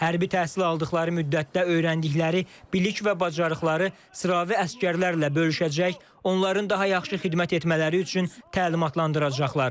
Hərbi təhsil aldıqları müddətdə öyrəndikləri bilik və bacarıqları sıravi əsgərlərlə bölüşəcək, onların daha yaxşı xidmət etmələri üçün təlimatlandıracaqlar.